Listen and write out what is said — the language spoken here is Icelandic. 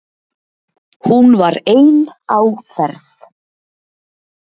Hún var ein á ferð